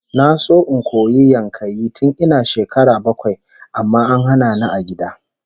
Na so in koyi yankayi tun ina shekara bakwai amma an hana ni a gida